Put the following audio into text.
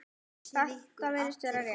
Þetta virðist vera rétt.